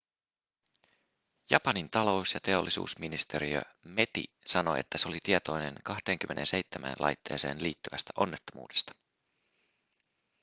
japanin talous- ja teollisuusministeriö meti sanoi että se oli tietoinen 27 laitteeseen liittyvästä onnettomuudesta